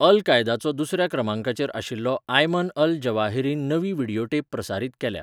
अल कायदाचो दुसर्या क्रमांकाचेर आशिल्लो आयमन अल जवाहिरीन नवी व्हिडियोटेप प्रसारीत केल्या.